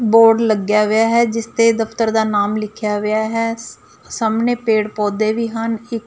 board ਲੱਗਿਆ ਵਿਹਾ ਹੈ ਜਿਸ ਤੇ ਦਫਤਰ ਦਾ ਨਾਮ ਲਿਖਿਆ ਵਿਹਾ ਹੈ ਸ ਸਾਹਮਣੇ ਪੇੜ ਪੌਦੇ ਵੀ ਹਨ ਇੱਕ--